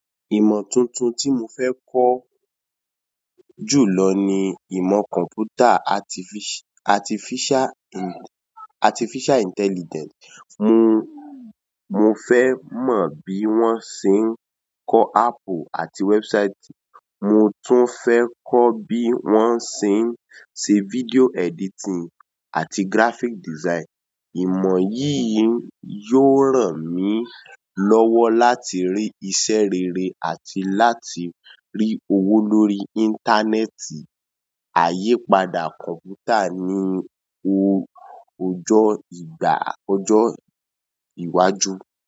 Ìmọ̀ tuntun tí mo fẹ́ kọ́ ju lọ ni ìmọ̀ kọ̀m̀pútà artificial intelligence. Mo, mo fẹ́ mọ bí wọ́n ṣe ń kọ́ app àti website. Mo tún fẹ́ kọ́ bí wọ́n ṣe ń ṣe video editing àti graphic design. Ìmọ̀ yì yó ràn mí lọ́wọ́ láti rí iṣẹ́ rere àti láti rí owó lórí íńtánẹ́ẹ̀tì. Àyípadà kọ̀m̀pútà ni ojó ìgbà ọjọ́ iwájú.